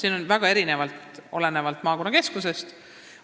Need on väga erinevad, olenevalt maakonnakeskusest.